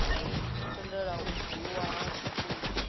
tendelaho u bwululwa ha tshitumbu